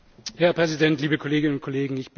Herr Präsident, liebe Kolleginnen und Kollegen!